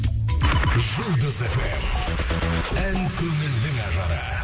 жұлдыз фм ән көңілдің ажары